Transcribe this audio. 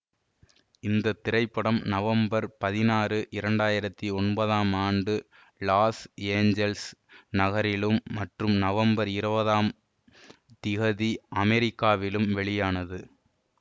இந்த திரைப்படம் நவம்பர் பதினாறு இரண்டு ஆயிரத்தி ஒன்பதாம் ஆண்டு லாஸ் ஏஞ்சல்ஸ் நகரிலும் மற்றும் நவம்பர் இருபதாம் திகதி அமெரிக்காவிலும் வெளியானது